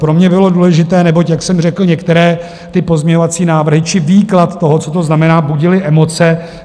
Pro mě bylo důležité, neboť, jak jsem řekl, některé ty pozměňovací návrhy či výklad toho, co to znamená, budily emoce.